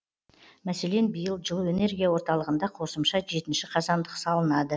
мәселен биыл жылу энергия орталығында қосымша жетінші қазандық салынады